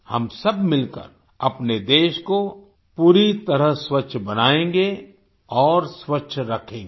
हम सब मिलकर अपने देश को पूरी तरह स्वच्छ बनाएँगे और स्वच्छ रखेंगे